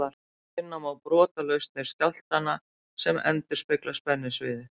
Finna má brotlausnir skjálftanna sem endurspegla spennusviðið.